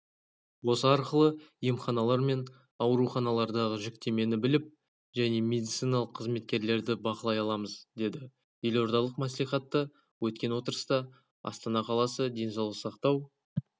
осы арқылы емханалар мен ауруханалардағы жүктемені біліп және медициналық қызметкерлерді бақылай аламыз деді елордалық мәслихатта өткен отырыста астана қаласы денсаулық сақтау